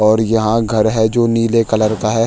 और यहाँ घर है जो नीले कलर का है।